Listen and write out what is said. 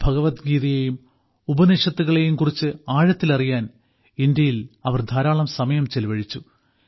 ഭഗവദ്ഗീതയേയും ഉപനിഷത്തുകളെയുംകുറിച്ച് ആഴത്തിൽ അറിയാൻ ഇന്ത്യയിൽ അവർ ധാരാളം സമയം ചെലവഴിച്ചു